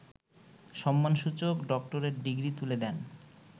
সম্মানসূচক doctorate degree তুলে দেন